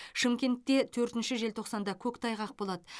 шымкентте төртінші желтоқсанда көктайғақ болады